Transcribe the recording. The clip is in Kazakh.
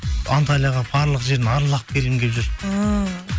анталияға барлық жерін аралап келгім келіп жүр ііі